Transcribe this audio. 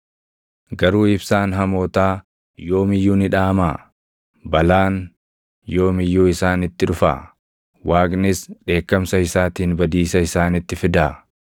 “Garuu ibsaan hamootaa yoom iyyuu ni dhaamaa? Balaan yoom iyyuu isaanitti dhufaa? Waaqnis dheekkamsa isaatiin badiisa isaanitti fidaa?